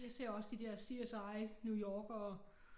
Jeg ser også de der CSI: NY og